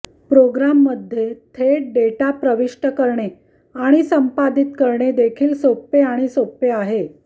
प्रोग्राममध्ये थेट डेटा प्रविष्ट करणे आणि संपादित करणे देखील सोपे आणि सोपे आहे